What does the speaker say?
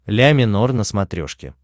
ля минор на смотрешке